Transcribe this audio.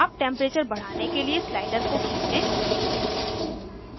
अब temperature बढ़ाने के लिए slider को खींचें